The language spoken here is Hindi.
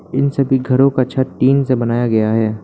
इन सभी घरों का छत टीन से बनाया गया है।